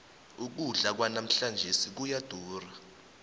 ukudla kwanamhlanjesi kuyadura